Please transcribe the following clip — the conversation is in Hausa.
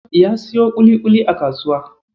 Ya siyo ƙuliƙuli a kasuwa.